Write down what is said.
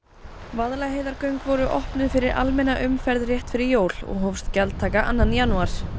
Vaðlaheiðargöng voru opnuð fyrir almenna umferð rétt fyrir jól og hófst gjaldtaka annan janúar